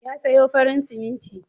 Ya sayo farin siminti.